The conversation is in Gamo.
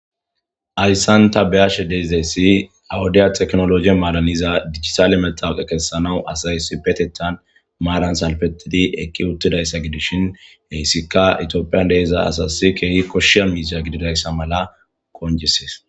ayssanta beyashe desidessi awudiya teknologie maaraniza digisaale metawqe kessanawu asay si petetan maaran salfetidi ekki uttidayssa gidishin heyssika itiopiyan deeza asasi keehi koshshiya miisiya gididayssa mala konjesees